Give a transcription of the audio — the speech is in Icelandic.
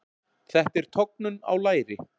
Þetta er tognun á læri.